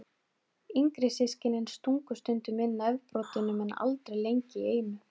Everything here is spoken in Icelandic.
Yngri systkinin stungu stundum inn nefbroddinum en aldrei lengi í einu.